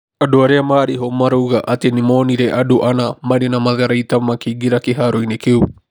Andũ arĩa maarĩ ho maroiga atĩ nĩ moonire andũ ana marĩ na matharaita makĩingĩra kĩharo-inĩ kĩu.